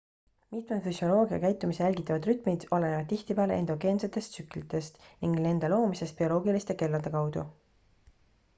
mitmed füsioloogia ja käitumise jälgitavad rütmid olenevad tihtipeale endogeensetest tsüklitest ning nende loomisest bioloogiliste kellade kaudu